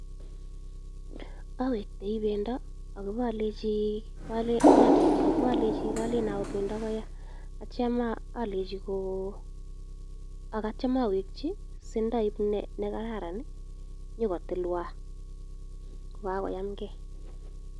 Awektoi bendo ak abolenchi kolen ayoo bendo koyaa, ak kityo alenchi katyem aweki si yoib nekaran nyokotilwan kobakoyamgei